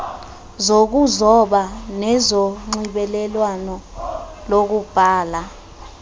zokuzoba nezonxibelelwano lokubhala